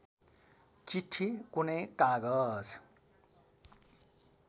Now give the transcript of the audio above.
चिट्ठी कुनै कागज